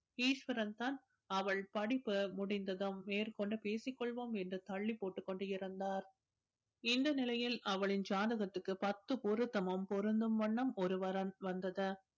ஈஸ்வரன் தான் அவள் படிப்பு முடிந்ததும் மேற்கொண்டு பேசிக் கொள்வோம் என்று தள்ளி போட்டுக் கொண்டு இருந்தார் இந்த நிலையில் அவளின் ஜாதகத்துக்கு பத்து பொருத்தமும் பொருந்தும் வண்ணம் ஒரு வரன் வந்தது